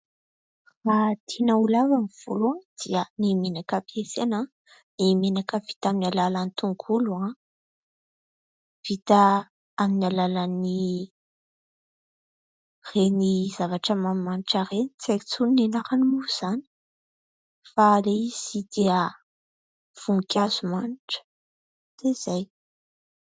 Raha tiana ho lava ny volo dia ny menaka ampiasaina ny menaka vita amin'ny alalan'ny tongolo ; vita amin'ny alalan'ireny zavatra manimanitra ireny, tsy aiko intsony ny anarany moa izany fa ilay izy dia voninkazo manitra dia izay.